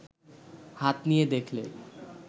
হাত নিয়ে দেখলে